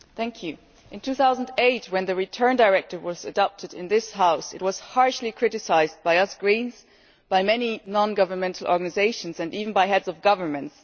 Mr President, in 2008 when the Return Directive was adopted in this House it was harshly criticised by us Greens, by many nongovernmental organisations and even by heads of government.